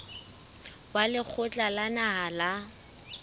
wa lekgotla la naha la